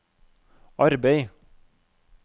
arbeid